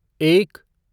एक